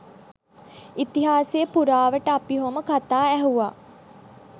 ඉතිහාසය පුරාවට අපි ඔහොම කතා ඇහුවා